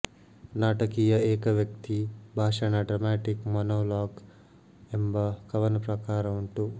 ನಾಟಕೀಯ ಏಕವ್ಯಕ್ತಿ ಭಾಷಣ ಡ್ರಾಮಾಟಿಕ್ ಮೋನೋಲೋಗ್ ಎಂಬ ಕವನ ಪ್ರಕಾರ ಉಂಟು